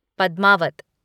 Padmaavat